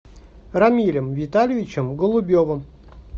рамилем витальевичем голубевым